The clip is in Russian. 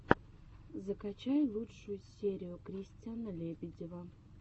закачай лучшую серию кристиана лебедева